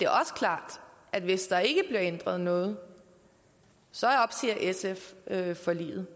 også klart at hvis der ikke bliver ændret noget opsiger sf forliget